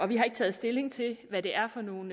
vi har ikke taget stilling til hvad det er for nogle